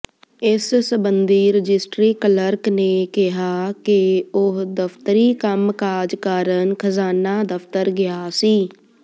ਇਸ ਸਬੰਧੀ registry clerk ਨੇ ਕਿਹਾ ਕਿ ਉਹ ਦਫ਼ਤਰੀ ਕੰਮਕਾਜ ਕਾਰਨ ਖਜ਼ਾਨਾ ਦਫ਼ਤਰ ਗਿਆ ਸੀ